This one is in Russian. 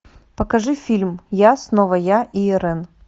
покажи фильм я снова я и ирэн